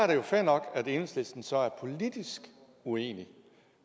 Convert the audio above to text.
det jo fair nok at enhedslisten så er politisk uenig